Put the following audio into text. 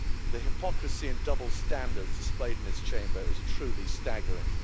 The hypocrisy and double standards displayed in this Chamber is truly staggering.